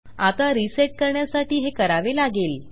आता रिसेट करण्यासाठी हे करावे लागेल